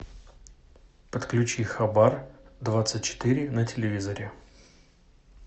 подключи хабар двадцать четыре на телевизоре